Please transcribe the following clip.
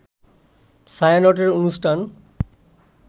ছায়ানটের অনুষ্ঠান